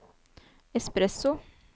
espresso